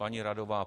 Paní radová?